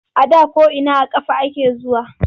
A da ko’ina da ƙafa ake zuwa.